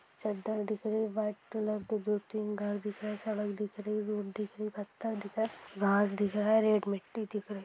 चद्दर दिख रही व्हाइट कलर की दो-तीन घर दिख रहे है सड़क दिख रहे है रोड दिख रहे पत्थर दिख रहा है घास दिख रहा है रेड मिट्ठी दिख रही।